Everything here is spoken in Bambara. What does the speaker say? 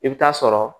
I bɛ taa sɔrɔ